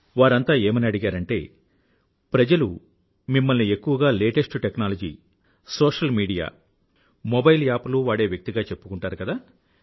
వారంతా ఏమని అడిగారంటే ప్రజలు మిమ్మల్ని ఎక్కువగా లేటెస్ట్ టెక్నాలజీనూతన సాంకేతికతసోషల్ మీడియాసామాజిక మాధ్యమం మొబైల్ యాప్ లు వాడే వ్యక్తిగా చెప్పుకుంటారు కదా